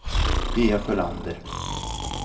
Pia Sjölander